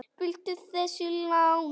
Viltu þessi lánuð?